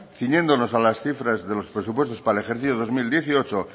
ciñéndonos a las cifras de los presupuestos para el ejercicio dos mil dieciocho